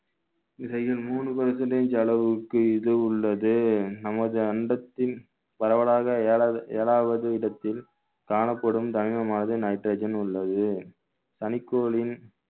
இதையும் மூணு percentage அளவுக்கு இது உள்ளது நமது அண்டத்தில் பரவலாக ஏழாவது ஏழாவது இடத்தில் காணப்படும் nitrogen உள்ளது தனிக்கோளின்